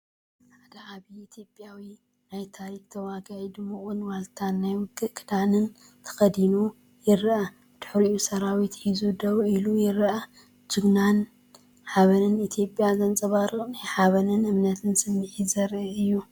ሓደ ዓብይ ኢትዮጵያዊ ናይ ታሪኽ ተዋጋኢ ድሙቕ ዋልታን ናይ ውግእ ክዳንን ተኸዲኑ ይረአ። ብድሕሪኡ ሰራዊት ሒዙ ደው ኢሉ ይረአ። ጅግንነትን ሓበንን ኢትዮጵያ ዘንጸባርቕ ናይ ሓበንን እምነትን ስምዒት ዘርኢ እዩ።